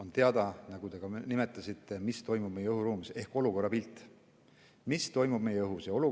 Nagu te ütlesite, siis kõige olulisem on teada, mis toimub meie õhuruumis, ehk saada pilt, mis toimub meie merel ja ka õhus.